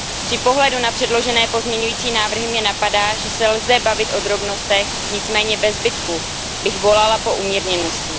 Při pohledu na předložené pozměňující návrhy mě napadá, že se lze bavit o drobnostech, nicméně ve zbytku bych volala po umírněnosti.